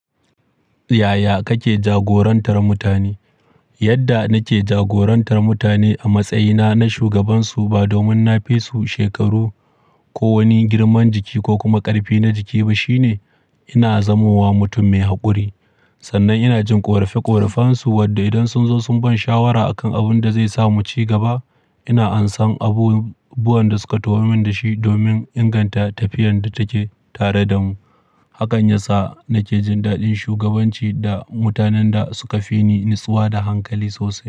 Yaya kake jagorantar mutane? Yadda nake jagorantar mutane a matsayina na shugabansu ba domin na fi su shekaru ko wani girman jiki ko kuma ƙarfi na jiki ba shine ina zamuwa mutum mai haƙuri. Sannan ina jin ƙorafe-ƙorafensu wadda idan sun zo sun ba ni shawara a kan abin da zai sa mu ci gaba, ina amsan abubuwan da suka taho min da shi domin inganta tafiyar da take tare da mu. Hakan ya sa nake jin daɗin shugabanci da mutanen da suka fi ni natsuwa da hankali sosai.